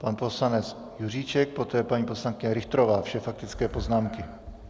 Pan poslanec Juříček, poté paní poslankyně Richterová, vše faktické poznámky.